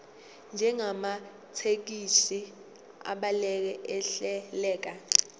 njengamathekisthi abhaleke ahleleka